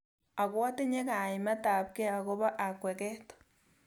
Ako atinye kaimet ab kei akobo akweket.